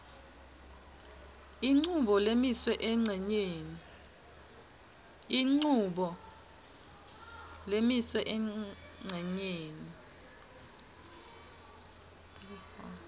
inchubo lemiswe encenyeni